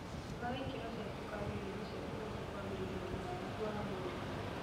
Thimaga ikĩro cia cukari irio-inĩ ciaku nĩguo kwagĩrithia ũgima waku wa mwĩrĩ